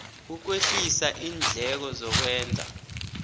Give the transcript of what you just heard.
ukwehlisa iindleko zokwenza